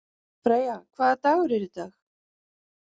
Freyja, hvaða dagur er í dag?